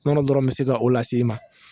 Nɔnɔ dɔrɔn bɛ se ka o lase e ma